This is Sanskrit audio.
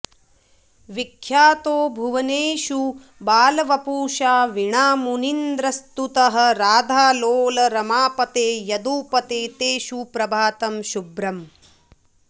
विख्यातो भुवनेषु बालवपुषा वीणामुनीन्द्रस्तुतः राधालोल रमापते यदुपते ते सुप्रभातं शुभम्